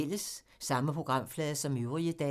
Samme programflade som øvrige dage